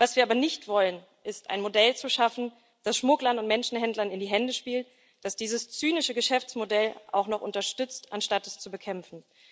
Was wir aber nicht wollen, ist, ein Modell zu schaffen, das Schmugglern und Menschenhändlern in die Hände spielt, das dieses zynische Geschäftsmodell auch noch unterstützt, anstatt es zu bekämpfen.